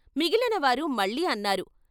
మిగిలినవారు మళ్ళీ అన్నారు.